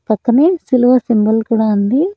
పక్కనే సిల్వా సింబల్ కూడా ఉంది.